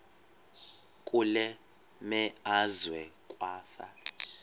kule meazwe kwafa